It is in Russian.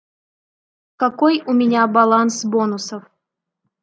какой у меня баланс бонусов